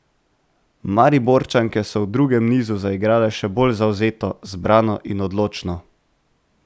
Mariborčanke so v drugem nizu zaigrale še bolj zavzeto, zbrano in odločno.